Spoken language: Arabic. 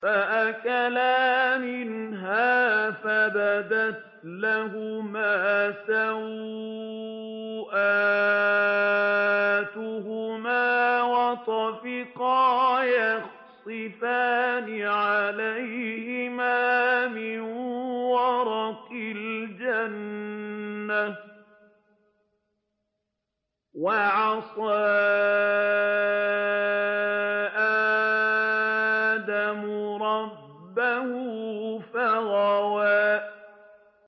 فَأَكَلَا مِنْهَا فَبَدَتْ لَهُمَا سَوْآتُهُمَا وَطَفِقَا يَخْصِفَانِ عَلَيْهِمَا مِن وَرَقِ الْجَنَّةِ ۚ وَعَصَىٰ آدَمُ رَبَّهُ فَغَوَىٰ